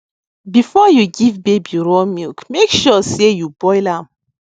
before you give baby raw milk make sure sey you boil am